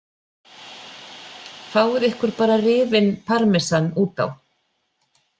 Fáið ykkur bara rifinn parmesan út á.